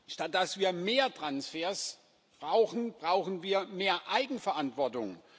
Statt dass wir mehr Transfers brauchen, brauchen wir mehr Eigenverantwortung.